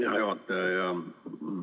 Hea juhataja!